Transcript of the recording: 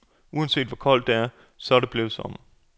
Uanset hvor koldt det er, så er det blevet sommer.